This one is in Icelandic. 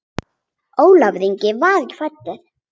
Ólafur Ingi var ekki fæddur.